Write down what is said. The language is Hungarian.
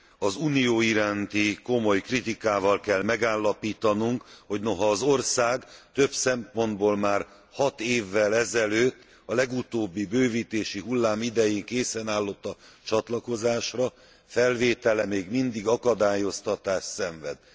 Az Unió iránti komoly kritikával kell megállapítanunk, hogy noha az ország több szempontból már hat évvel ezelőtt, a legutóbbi bővítési hullám idején készen állott a csatlakozásra, felvétele még mindig akadályoztatást szenved.